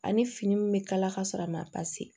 Ani fini min bɛ kala ka sɔrɔ a ma